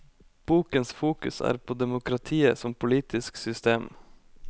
Bokens fokus er på demokratiet som politisk system.